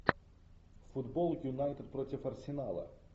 футбол юнайтед против арсенала